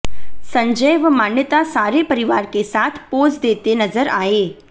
संजय व मान्यता सारे परिवार के साथ पोज देते नजर आए